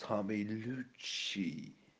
самый лучший